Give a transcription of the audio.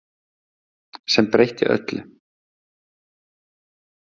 Sem breytti öllu.